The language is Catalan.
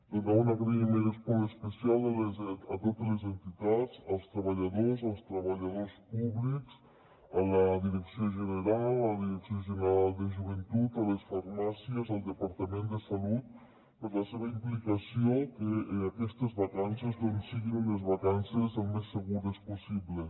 donar un agraïment molt especial a totes les entitats als treballadors als treballadors públics a la direcció general a la direcció general de joventut a les farmàcies al departament de salut per la seva implicació perquè aquestes vacances doncs siguin unes vacances el més segures possible